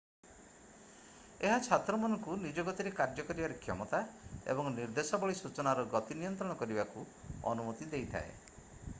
ଏହା ଛାତ୍ରମାନଙ୍କୁ ନିଜ ଗତିରେ କାର୍ଯ୍ୟ କରିବାର କ୍ଷମତା ଏବଂ ନିର୍ଦ୍ଦେଶାବଳୀ ସୂଚନାର ଗତି ନିୟନ୍ତ୍ରଣ କରିବାକୁ ଅନୁମତି ଦେଇଥାଏ